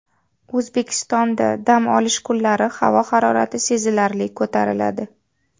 O‘zbekistonda dam olish kunlari havo harorati sezilarli ko‘tariladi.